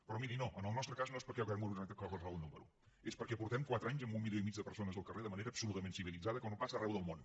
però miri no en el nostre cas no és perquè hàgim organitzat qualsevol número és perquè portem quatre anys amb un milió i mig de persones al carrer de manera absolutament civilitzada com no passa arreu del món